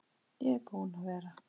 Ég er búinn að vera.